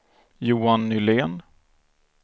Johan Nylén